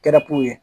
Kɛra pow ye